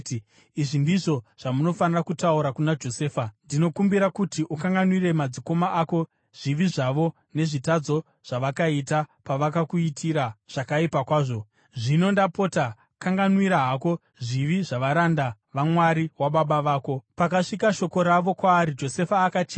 ‘Izvi ndizvo zvamunofanira kutaura kuna Josefa: Ndinokumbira kuti ukanganwire madzikoma ako zvivi zvavo nezvitadzo zvavakaita pavakakuitira zvakaipa kwazvo. Zvino ndapota kanganwira hako zvivi zvavaranda vaMwari wababa vako.’ ” Pakasvika shoko ravo kwaari, Josefa akachema.